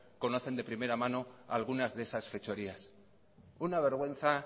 conocen de primera mano algunas de esas fechorías una vergüenza